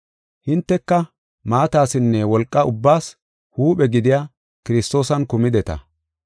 Hinteka maatasinne wolqa ubbaas huuphe gidiya Kiristoosan kumideta.